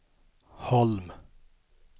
Holm